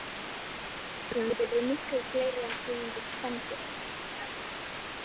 Það er rétt að fiskategundir eru miklu fleiri en tegundir spendýra.